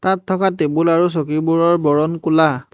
ইয়াত থকা টেবুল আৰু চকীবোৰৰ বৰণ ক'লা।